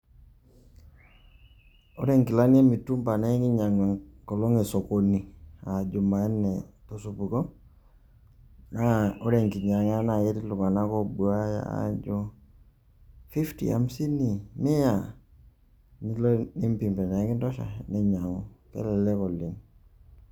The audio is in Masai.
Ore nkilani e mitumba naye kinyang'u enkolong' e sokoni a jumanne to supuko naa ore enkinyang'a eti iltung'anak obuaya aajo fifty, hamsini, mia nilo nimpim anake kintosha ninyang'u, kelelek oleng'.